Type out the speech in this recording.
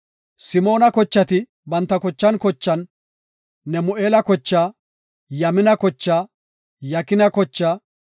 Simoona kochati banta kochan kochan, Nemu7eela kochaa, Yamina kochaa, Yakina kochaa,